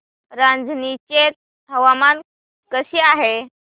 रांझणी चे हवामान कसे आहे